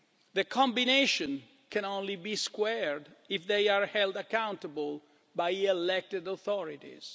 The combination can only be squared if they are held accountable by elected authorities.